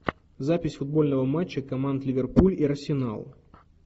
запись футбольного матча команд ливерпуль и арсенал